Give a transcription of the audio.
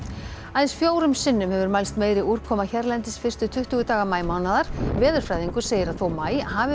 aðeins fjórum sinnum hefur mælst meiri úrkoma hérlendis fyrstu tuttugu daga maímánaðar veðurfræðingur segir að þó maí hafi